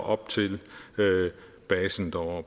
op til basen og